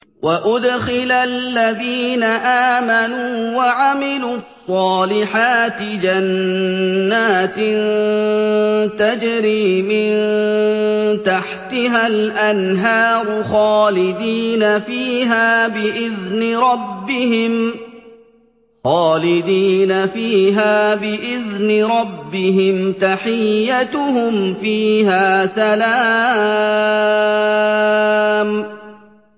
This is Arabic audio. وَأُدْخِلَ الَّذِينَ آمَنُوا وَعَمِلُوا الصَّالِحَاتِ جَنَّاتٍ تَجْرِي مِن تَحْتِهَا الْأَنْهَارُ خَالِدِينَ فِيهَا بِإِذْنِ رَبِّهِمْ ۖ تَحِيَّتُهُمْ فِيهَا سَلَامٌ